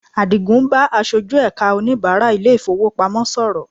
Àdìgún ń bá aṣojú ẹ̀ka oníbàrá ilé-ìfowópamọ́ sọ̀rọ̀